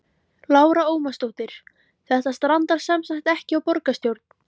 Lára Ómarsdóttir: Þetta strandar semsagt ekki á borgarstjórn?